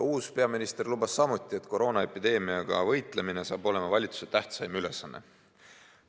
Uus peaminister lubas samuti, et koroonaepideemiaga võitlemine saab olema valitsuse tähtsaim ülesanne.